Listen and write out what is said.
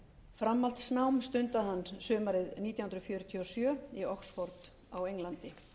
framhaldsnám stundaði hann sumarið nítján hundruð fjörutíu og sjö í oxford á englandi